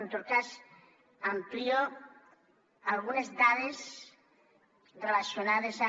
en tot cas amplio algunes dades relacionades amb